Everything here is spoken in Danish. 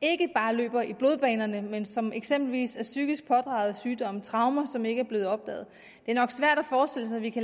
ikke bare løber i blodbanerne men som eksempelvis er psykisk pådragede sygdomme traumer som ikke er blevet opdaget det er nok svært at forestille sig at vi kan